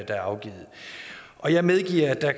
er afgivet og jeg medgiver at der